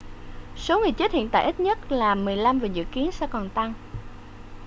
số người chết hiện tại ít nhất là 15 và dự kiến sẽ còn tăng